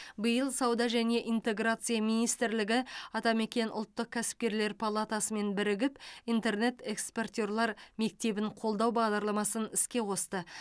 биыл сауда және интеграция министрлігі атамекен ұлттық кәсіпкерлер палатасымен бірігіп интернет экспортерлар мектебін қолдау бағдарламасын іске қосты